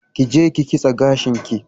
Kije ki kitse gashinki